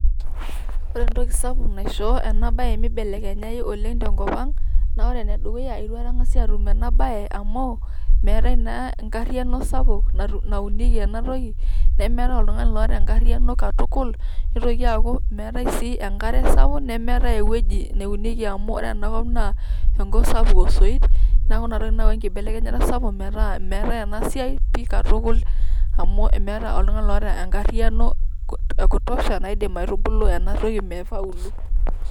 Ore entoki sapuk mibelekenyayu oleng tenkop ang naa ore ene dukuya naa itu aikata engas atum ena bae amu meetae naa enkariano sapuk naunieki ena toki ,nemeetae oltungani loota enkariano katukul . neitoki aaku meetae sii enkare sapuk nemeetae ewueji neunieki amu ore ena kop naa enkop sapuk osoit neaku ina toki nayawua enkibelekenyata sapuk metaa meetae ena siai pi katukul amu meetae oltungani loota enkariano e kutosha naidim aitubulu ena toki meifaulu.